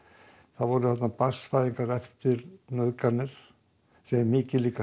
það voru þarna barnsfæðingar eftir nauðganir sem er mikið